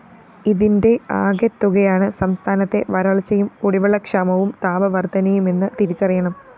ഇതിന്റെ ആകെത്തുകയാണ്‌ സംസ്ഥാനത്തെ വരള്‍ച്ചയും കുടിവെള്ളക്ഷാമവും താപവര്‍ധനയുമെന്ന്‌ തിരിച്ചറിയണം